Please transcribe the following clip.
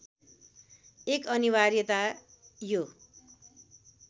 एक अनिवार्यता यो